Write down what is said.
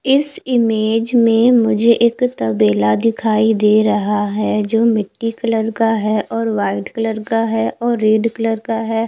इस इमेज में मुझे एक तबेला दिखाई दे रहा है जो मिटटी कलर का है और वाइट कलर का है और रेड कलर का है।